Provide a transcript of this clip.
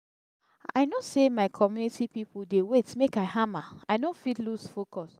i know sey my community pipu dey wait make i hama i no fit loose focus.